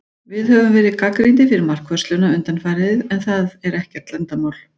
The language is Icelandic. Við höfum verið gagnrýndir fyrir markvörsluna undanfarið, og það er ekkert leyndarmál.